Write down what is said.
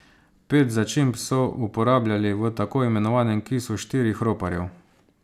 Pet začimb so uporabljali v tako imenovanem kisu štirih roparjev.